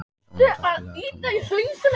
Sónata, spilaðu tónlist.